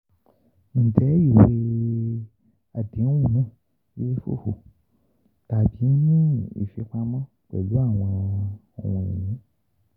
um Njẹ iwe adehun náà tabi ni ifipamọ pẹlu awọn ohun-ini?